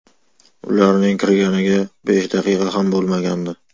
Ularning kirganiga besh daqiqa ham bo‘lmagandi.